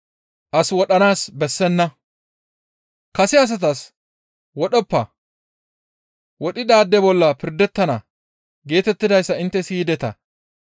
«Kase asatas, ‹Wodhoppa; wodhidaade bolla pirdettana› geetettidayssa intte siyideta.